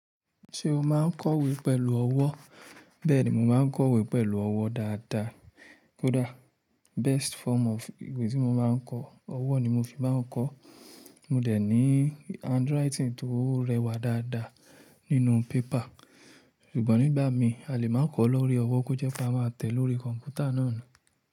Ṣé o máa ń kọ̀wé pẹ̀lú ọwọ́? Bẹ́ẹ̀ni, mo máa ń kọ̀wé pẹ̀lú ọwọ́ dáadáa. Kódà best form of ìwé tí mo máa ń kọ, ọwọ́ ni mo fi máa ń kọ. Mo dẹ̀ ní handwriting tó rẹwà dáadáa nínú paper. Ṣùgbọ́n nígbà mí, a lè máa ń kọ lórí ọwọ́ kó jẹ́ kí a máa tẹ̀ lórí kọ̀m̀pútà náà ni.